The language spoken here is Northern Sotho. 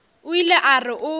o ile a re o